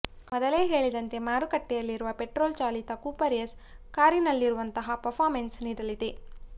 ಮೊದಲೇ ಹೇಳಿದಂತೆ ಮಾರುಕಟ್ಟೆಯಲ್ಲಿರುವ ಪೆಟ್ರೋಲ್ ಚಾಲಿತ ಕೂಪರ್ ಎಸ್ ಕಾರಿನಲ್ಲಿರುವಂತಹ ಪರ್ಫಾಮೆನ್ಸ್ ನೀಡಲಿದೆ